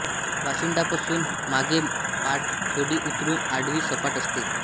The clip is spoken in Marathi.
वशिंडापासून मागे पाठ थोडी उतरून आडवी सपाट असते